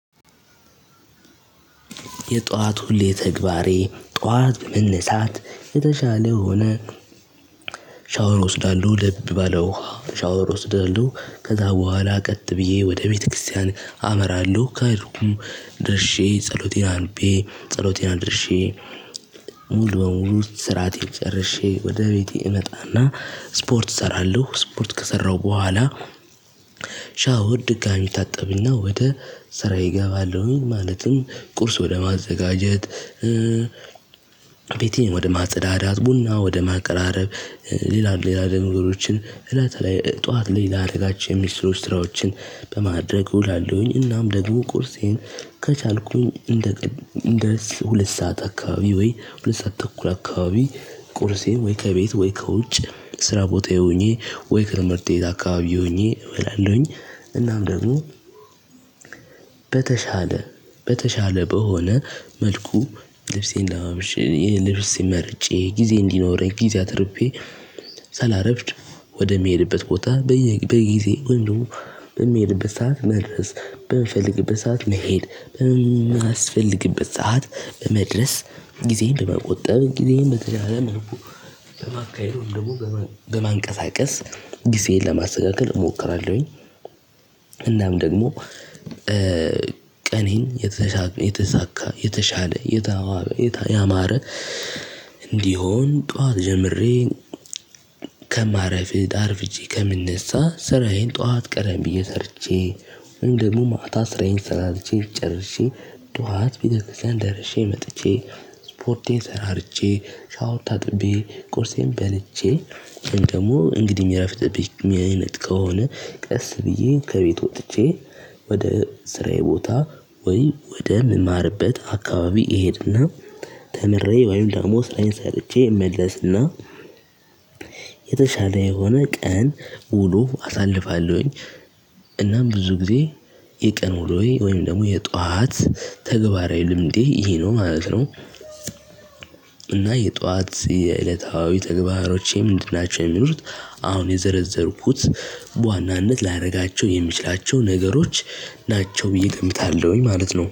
የጧት ሁሌ ተግባሬ ጧት መነሳት የተሻለ ሆነ። ሻወር እወስዳለሁ ለብ ባለው ሻወር ወስዳለሁ ከዛ በኋላ ቀጥ ብዬ ወደ ቤተክርስቲያን አመራለሁ ከሄድኩም ድርሼ ጸሎቴን አንቤ ጸሎቴን አድርሼ። ሙሉ በሙሉ ውስጥ ስራቴን ጨርሼ ወደ ቤቴ እመጣና ስፖርት እሰራለሁ ስፖርት ከሰራሁ በኋላ። ሻወር ድጋሚ ታጠብና ወደ ስራየ እገባለሁኝ ማለትም ቁርስ ወደ ማዘጋጀት። ቤቴን ወደ ማጽዳት ቡና ወደ ማቀራረብ ሌላ ሌላ ሌላ ነገሮችን እለት ላይ ጠዋት ላይ ላደረጋቸው ሚስሩስ ስራዎችን በማድረግ እውላለሁኝ። እናም ደግሞ ቁርሴን ከቻልኩኝ እንደ እንደ ሁለት ሰዓት አካባቢ ወይሁለት ሰዓት ተኩል አካባቢ ቁርሴን ወይ ከቤት ወይ ከውጭ ስራ ቦታዬ ሆኜ ወይ ከትምህርትቤት አካባቢ ሆኜ እበላለሁኝ። እናም ደግሞ በተሻለ በተሻለ በሆነ መልኩ ልብሴን ለባብሼ ልብስ መርጬ ጊዜ እንዲኖረኝ ጊዜ አትርፌ። ሰላረፍድ ወደሚሄድበት ቦታ በጊዜ ወንም ደግሞ የሚሄድበት ሰዓት መድረስ በምፈልግበት ሰዓት መሄድ በማስፈልግበት ሰዓት በመድረስ ጊዜ ለመቆጠብ ጊዜን በተደጋጋሚ በማካሄድ ደግሞ በማንቀሳቀስ ጊዜን ለማስተካከል እሞክራለሁኝ። እናም ደግሞ ቀኔን የተሳካ የተሻለ የተዋበ ያማረ እንዲሆን ጠዋት ጀምሬ። ከማረፍድ አርፍጄ ከምንሳ ስራዬን ጠዋት ቀረም ብዬ ሰርቼ ወይም ደግሞ ማታ ስራዬን ሰራርቼ ጨርሼ ጧት ቤተክርስቲያን ደርሼ መጥቼ። ስፖርቴን ሰራርቼ ሻወር ታጥቤ ቁርሴን በልቼ ደግሞ እንግዲህ ሚረፍድብኝ አይነት ከሆነ ቀስ ብዬ ከቤት ወጥቼ ወደ ስራዬ ቦታ ወይ ወደ ምማርበት አካባቢ እሄድና ተምሬ ወይም ደግሞ ስራዬን ሰርቼ እመለስና የተሻለ የሆነ ቀን ውሎ አሳልፋለሁኝ። እና ብዙ ጊዜ የቀን ውሎየ ወይም ደግሞ የጧት ተግባራዊ ልምዴ ይሄ ነው ማለት ነው። እና የጧት የዕለታዊ ተግባሮቼ ምንድን ናቸው የሚሉት? አሁን የዘረዘርኩት በዋናነት ላደርጋቸው የሚችላቸው ነገሮች ናቸው ብዬ እገምታለሁኝ ማለት ነው